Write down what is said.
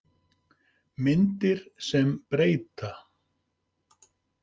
Myndir sem breyta